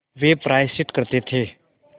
वे प्रायश्चित करते थे